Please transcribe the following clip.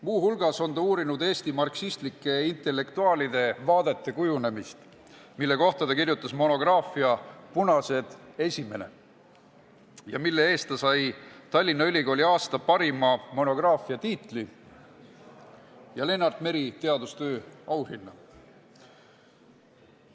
Muu hulgas on ta uurinud Eesti marksistlike intellektuaalide vaadete kujunemist, mille kohta on ta kirjutanud monograafia "Punased I", mille eest sai ta Tallinna Ülikooli aasta parima monograafia preemia ja Lennart Meri teadustöö auhinna.